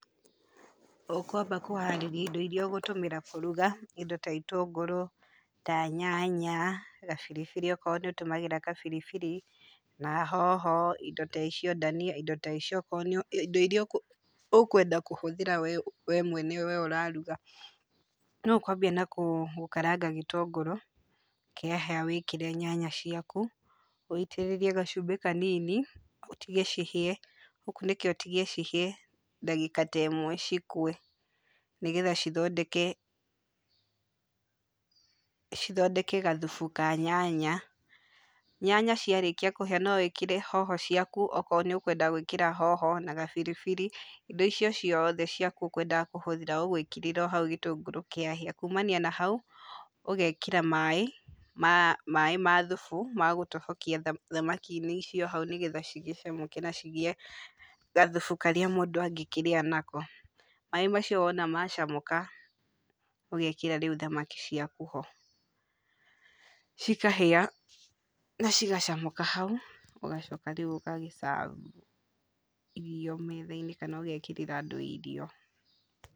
Ũkũamba kũharĩria indo irĩa ũgũtũmĩra kũruga, indo ta itũngũrũ, ta nyanya, gabiribiri okorũo nĩ ũtũmĩraga gabiribiri, na hoho indo ta icio, dhania, indo ta icio, indo irĩa ũkwenda kũhũthĩra we mwene we ũraruga. No ũkũambia na gũkaranga gĩtũngũrũ, kĩahĩa wĩkĩre nyanya ciaku, ũitĩrĩrie gacumbĩ kanini, ũtige cihĩe, ũkunĩke ũtige cihĩe ndagĩka ta ĩmwe cikue nĩgetha cithondeke cithondeke gathubu ka nyanya. Nyanya ciarĩkia kũhĩa no wĩkĩre hoho ciaku okorũo nĩ ũkwenda gwĩkĩra hoho na gabiribiri. Indo icio ciothe ciaku ũkwendaga kũhũthĩra ũgwĩkĩrĩra o hau gĩtũngũrũ kĩahĩa. Kumania na hau ũgekĩra maĩ ma thubu ma gũtobokia thamaki-inĩ icio hau nĩgetha cigĩcamũke na cigĩe gathubu karĩa mũndũ angĩkĩrĩa nako. Maĩ macio wona macamũka ũgekĩra rĩu thamaki ciaku ho, cikahĩa na cigacamũka hau, ũgacoka rĩu ũgagĩ serve irio metha-inĩ kana ũgekĩrĩra andũ irio.